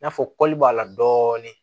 I n'a fɔ b'a la dɔɔnin